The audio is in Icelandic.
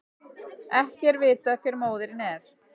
Ekki er vitað hver móðirin er